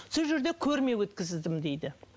сол жерде көрме өткіздім дейді